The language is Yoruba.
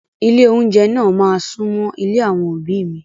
Ilé oúnjẹ náà máa súnmọ́ ilé àwọn òbí mi.